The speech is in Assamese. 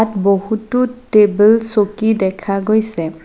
বহুতো টেবুল চকী দেখা গৈছে।